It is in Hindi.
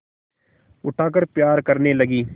उठाकर प्यार करने लगी